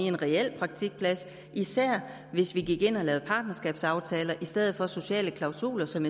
en reel praktikplads især hvis man gik ind og lavede partnerskabsaftaler i stedet for sociale klausuler som